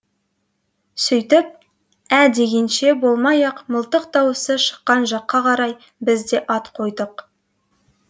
сөйтіп ә дегенше болмай ақ мылтық даусы шыққан жаққа қарай біз де ат қойдық